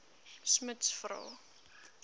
smuts vra